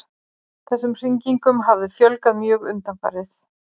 Þessum hringingum hafi fjölgað mjög undanfarið